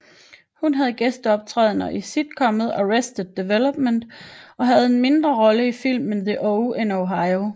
Hun havde gæsteoptrædener i sitcomet Arrested Development og havde en mindre rolle i filmen The Oh in Ohio